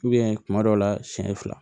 kuma dɔw la siɲɛ fila